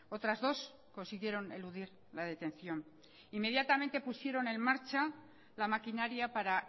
otras dos consiguieron eludir la detención inmediatamente pusieron en marcha la maquinaria para